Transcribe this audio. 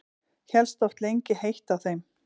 Hélst oft lengi heitt á þeim.